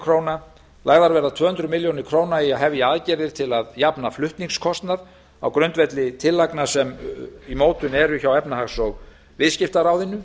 króna lagðar verða tvö hundruð milljóna króna í að hefja aðgerðir til að jafna flutningskostnað á grundvelli tillagna sem í mótun eru hjá efnahags og viðskiptaráðuneyti